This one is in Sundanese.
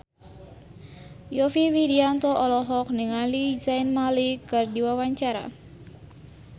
Yovie Widianto olohok ningali Zayn Malik keur diwawancara